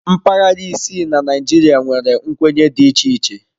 Mpaghara isii na Naịjirịa nwere nkwenye dị iche iche.